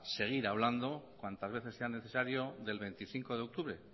seguir hablando cuantas veces sea necesario del veinticinco de octubre